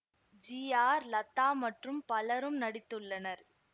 G R Latha மற்றும் பலரும் நடித்துள்ளனர்